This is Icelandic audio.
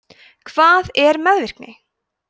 hvað er meðvirkni